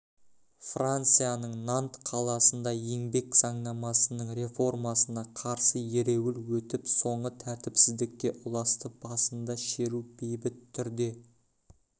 францияның нант қаласында еңбек заңнамасының реформасына қарсы ереуіл өтіп соңы тәртіпсіздікке ұласты басында шеру бейбіт түрде